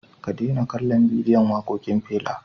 Ka daina kallon bidiyon waƙoƙin Fela.